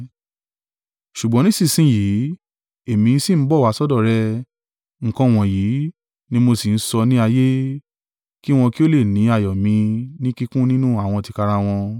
“Ṣùgbọ́n nísinsin yìí èmi sì ń bọ̀ wá sọ́dọ̀ rẹ, nǹkan wọ̀nyí ni mo sì ń sọ ní ayé, kí wọn kí ó lè ní ayọ̀ mi ní kíkún nínú àwọn tìkára wọn.